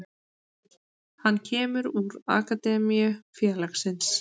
Hann kemur úr akademíu félagsins.